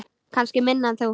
Kannski minna en þú.